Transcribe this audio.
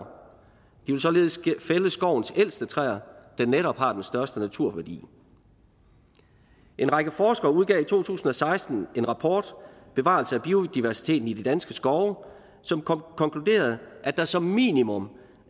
de vil således fælde skovens ældste træer der netop har den største naturværdi en række forskere udgav i to tusind og seksten rapporten bevarelse af biodiversiteten i de danske skove som konkluderede at der som minimum